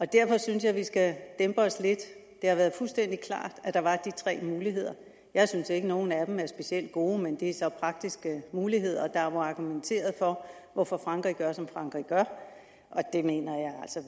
derfor synes jeg at vi skal dæmpe os lidt det har været fuldstændig klart at der var de tre muligheder jeg synes ikke at nogen af dem er specielt gode men det er så praktiske muligheder og der er argumenteret for hvorfor frankrig gør som frankrig gør